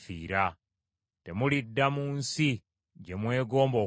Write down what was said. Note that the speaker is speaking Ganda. Temulidda mu nsi gye mwegomba okuddamu.”